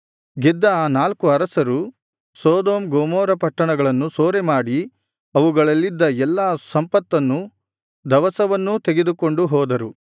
ಗೆದ್ದ ಆ ನಾಲ್ಕು ಅರಸರು ಸೊದೋಮ್ ಗೊಮೋರ ಪಟ್ಟಣಗಳನ್ನು ಸೂರೆಮಾಡಿ ಅವುಗಳಲ್ಲಿದ್ದ ಎಲ್ಲಾ ಸಂಪತ್ತನ್ನೂ ದವಸವನ್ನೂ ತೆಗೆದುಕೊಂಡು ಹೋದರು